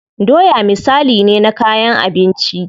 Doya misali ne na kayan abinci.